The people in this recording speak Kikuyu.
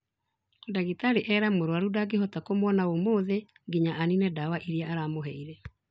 Ndagĩtarĩ era mũrwarũ ndangĩhota kũmwona ũmũthĩ nginya anine dawa iria aramũheire